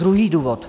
Druhý důvod.